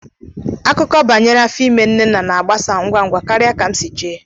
Akụkọ banyere áfọ imé nnenna na-àgbàsà ngwá ngwá karịa ka m si ché